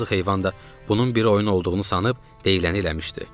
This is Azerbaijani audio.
Yazıq heyvan da bunun bir oyun olduğunu sanıb deyiləni eləmişdi.